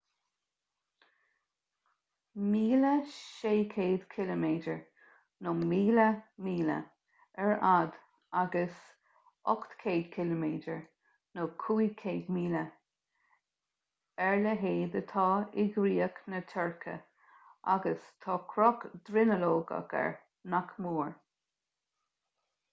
1,600 ciliméadar 1,000 míle ar fhad agus 800 km 500 míle ar leithead atá i gcríoch na tuirce agus tá cruth dronuilleogach air nach mór